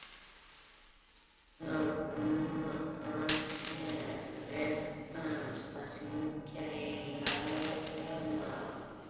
Talar um að það sé réttast að hringja í lögregluna.